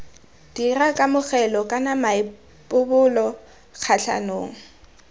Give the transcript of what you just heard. dira kamogelo kana maipobolo kgatlhanong